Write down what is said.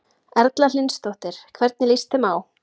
Erla Hlynsdóttir: Hvernig líst þeim á?